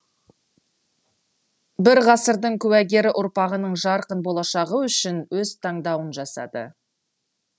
бір ғасырдың куәгері ұрпағының жарқын болашағы үшін өз таңдауын жасады